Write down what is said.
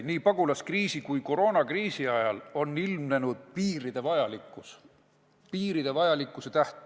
Nii pagulaskriisi kui ka koroonakriisi ajal on ilmnenud piiride vajalikkus.